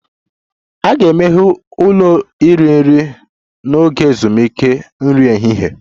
A ga-emeghe ụlọ iri nri n'oge ezumike nri ehihie